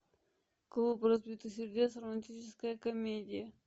клуб разбитых сердец романтическая комедия